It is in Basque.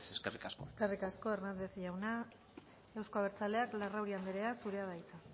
besterik ez eskerrik asko eskerrik asko hernández jauna euzko abertzaleak larrauri andrea zurea da hitza